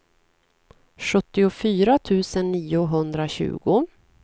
sjuttiofyra tusen niohundratjugo